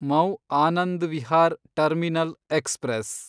mu Anand Vihar terminal express